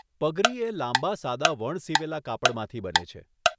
પગરી એ લાંબા સાદા વણસીવેલા કાપડમાંથી બને છે.